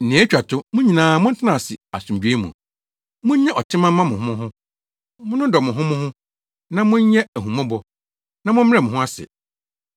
Nea etwa to, mo nyinaa montena ase asomdwoe mu. Munnya ɔtema mma mo ho mo ho. Monnodɔ mo ho mo ho, na monyɛ ahummɔbɔ, na mommrɛ mo ho ase.